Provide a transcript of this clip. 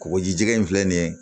Kɔgɔjija in filɛ nin ye